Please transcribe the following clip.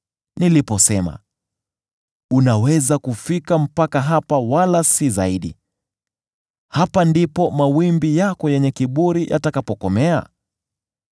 niliposema, ‘Unaweza kufika mpaka hapa wala si zaidi; hapa ndipo mawimbi yako yenye kiburi yatakapokomea’?